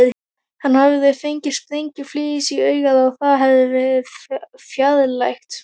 Hann hafði fengið sprengjuflís í augað og það verið fjarlægt.